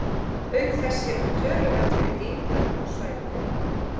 Auk þess hefur töluvert verið gengið á búsvæði þeirra.